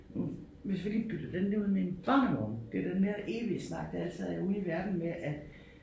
Nu hvis vi lige bytter den der ud med en barnevogn. Det den der evige snak der altid er ude i verden med at